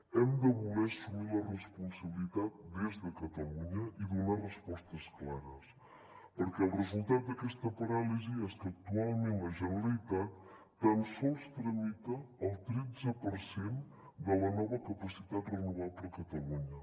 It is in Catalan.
hem de voler assumir la responsabilitat des de catalunya i donar respostes clares perquè el resultat d’aquesta paràlisi és que actualment la generalitat tan sols tramita el tretze per cent de la nova capacitat renovable a catalunya